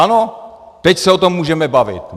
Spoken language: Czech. Ano, teď se o tom můžeme bavit.